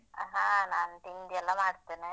ಹಾ ನಾನ್ ತಿಂಡಿಯೆಲ್ಲ ಮಾಡ್ತೇನೆ.